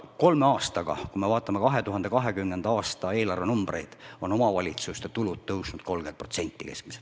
Kolme aastaga, kui me vaatame 2020. aasta eelarve numbreid, on omavalitsuste tulud tõusnud keskmiselt 30%.